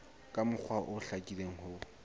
ka mokgwa o hlakileng ho